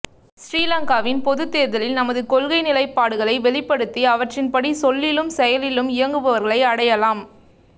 சிறிலங்காவின் பொதுத்தேர்தலில் தமது கொள்கை நிலைப்பாடுகளை வெளிப்படுத்தி அவற்றின்படி சொல்லிலும் செயலிலும் இயங்குபவர்களை அடையாளம்